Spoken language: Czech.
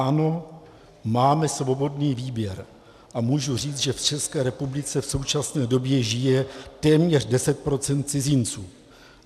Ano, máme svobodný výběr a můžu říct, že v České republice v současné době žije téměř 10 % cizinců.